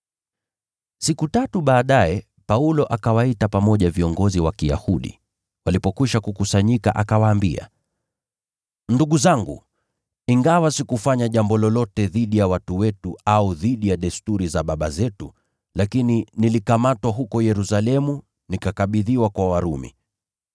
Siku tatu baadaye Paulo akawaita pamoja viongozi wa Kiyahudi. Walipokwisha kukusanyika akawaambia, “Ndugu zangu, ingawa sikufanya jambo lolote dhidi ya watu wetu au dhidi ya desturi za baba zetu, lakini nilikamatwa huko Yerusalemu nikakabidhiwa kwa Warumi.